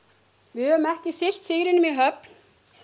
höfum ekki siglt sigrinum í höfn